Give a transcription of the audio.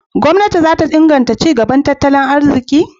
Gwamnati za ta iya inganta ci gaban tattalin arziki?